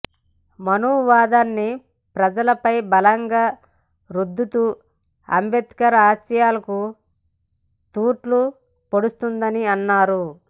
మనువాదాన్ని ప్రజలపై బలంగా రుద్దుతూ అంబేద్కర్ ఆశయాలకు తూట్లు పొడుస్తోందని అన్నారు